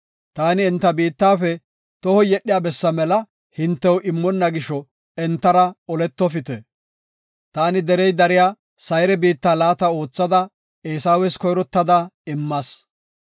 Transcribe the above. Taani enta biittafe tohoy yedhiya bessa mela hintew immonna gisho entara oletofite. Taani derey dariya Sayre biitta laata oothada Eesawes koyrottada immas.